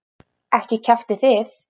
Ekki kjaftið þið.